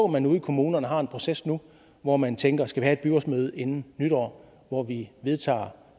man ude i kommunerne har en proces nu hvor man tænker skal vi have et byrådsmøde inden nytår hvor vi vedtager